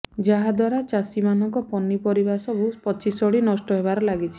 ଯାହାଦ୍ବାରା ଚାଷୀମାନଙ୍କ ପନିପରିବା ସବୁ ପଚିସଢି ନଷ୍ଟ ହେବାରେ ଲାଗିଛି